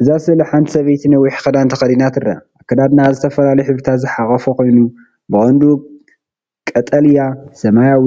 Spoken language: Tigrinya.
እዛ ስእሊ ሓንቲ ሰበይቲ ነዊሕ ክዳን ተኸዲና ትርአ። ኣከዳድናኣ ዝተፈላለዩ ሕብርታት ዝሓቖፈ ኮይኑ፡ ብቐንዱ ቀጠልያ፡ ሰማያዊ፡